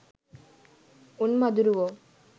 උන් මදුරුවෝ